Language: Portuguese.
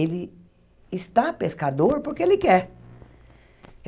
Ele está pescador porque ele quer.